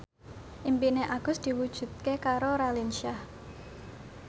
impine Agus diwujudke karo Raline Shah